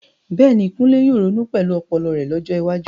Bẹ́ẹ̀ni, Kunle yóò ronú pẹ̀lú ọpọlọ rẹ̀ lọ́jọ́ iwájú.